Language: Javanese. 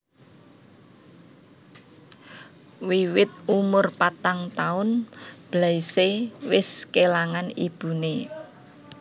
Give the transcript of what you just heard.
Wiwit umur patang taun Blaise wis kélangan ibuné